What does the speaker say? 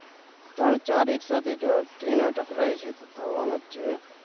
ત્રણ ચાર એક સાથે train ટકરાય છે થવાનાજ છે